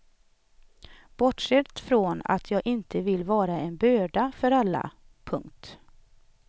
Bortsett från att jag inte vill vara en börda för alla. punkt